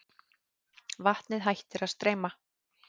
Vatnið hættir að streyma.